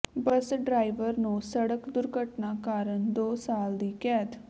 ਬੱਸ driver ਨੂੰ ਸੜਕ ਦੁਰਘਟਨਾ ਕਾਰਨ ਦੋ ਸਾਲ ਦੀ ਕੈਦ